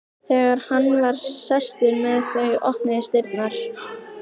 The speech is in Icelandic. Þegar hann var sestur með þau opnuðust dyrnar.